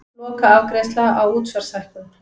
Lokaafgreiðsla á útsvarshækkun